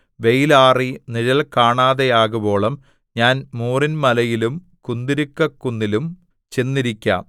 വെയലാറി നിഴൽ കാണാതെയാകുവോളം ഞാൻ മൂറിൻമലയിലും കുന്തുരുക്കക്കുന്നിലും ചെന്നിരിക്കാം